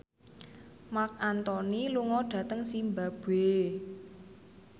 Marc Anthony lunga dhateng zimbabwe